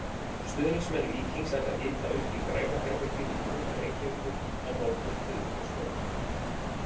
Stuðningsmenn Víkings ætla að hita upp í Græna herberginu í miðbæ Reykjavíkur á morgun þriðjudagskvöld.